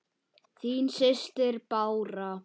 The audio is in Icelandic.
Þín systir, Bára.